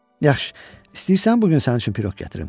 Yaxşı, istəyirsən bu gün sənin üçün piroq gətirim?